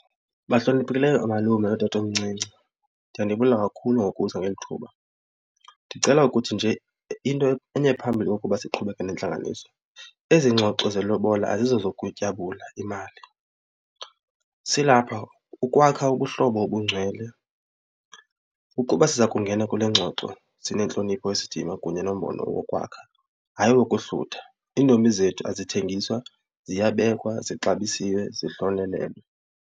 Bahloniphekileyo oomalume nootatomncinci, ndiya ndibulela kakhulu ngokuza ngeli thuba. Ndicela ukuthi nje into phambili ukuba siqhubeke nentlanganiso ezi ngxoxo zelobola azizezokutyabula imali. Silapha ukwakha ubuhlobo obungcwele. Ukuba siza kungena kule ngxoxo sinentlonipho isidima kunye nombono wokwakha hayi wokuhlutha. Iintombi zethu azithengiswa, ziyabekwa, zixabisiwe, zihlonelelwe.